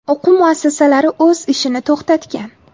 O‘quv muassasalari o‘z ishini to‘xtatgan.